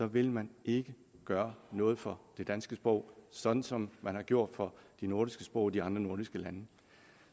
vil man ikke gøre noget for det danske sprog sådan som man har gjort for de nordiske sprog i de andre nordiske lande